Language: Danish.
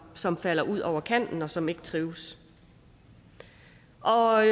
som falder ud over kanten og som ikke trives og